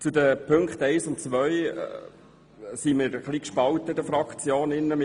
Bei den Ziffern 1 und 2 sind wir in der Fraktion ein bisschen gespalten.